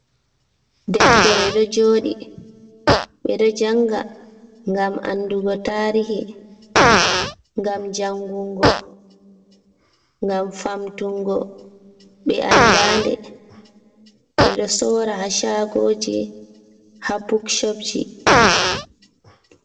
Ɗeftere ɗo joɗi. be ɗo janga ngam anɗugo tarihi. Ngam jangungo ngam famtungo be anɗa nɗe. Be ɗo sora ha shagoji ha buk shob ji.